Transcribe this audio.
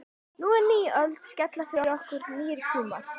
Nú er ný öld að skella yfir okkur, nýir tímar.